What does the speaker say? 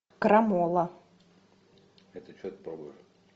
крамола